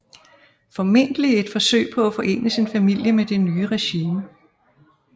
Formentlig i et forsøg på at forene sin familie med det nye regime